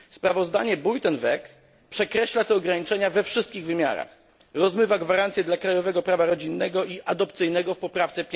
Sprawozdanie Buitenweg przekreśla te ograniczenia we wszystkich wymiarach, rozmywa gwarancje dla krajowego prawa rodzinnego i adopcyjnego w poprawce